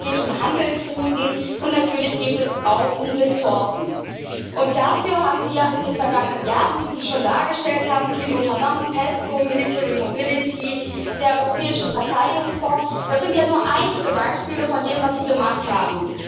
Es geht um Handelsrouten, und natürlich geht es auch um Ressourcen. Dafür haben Sie ja in den vergangenen Jahren, wie Sie schon dargestellt haben, viel unternommen Pesco, der Europäische Verteidigungsfonds das sind ja nur einige Beispiele von dem, was Sie gemacht haben.